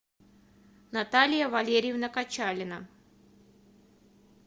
наталья валерьевна качалина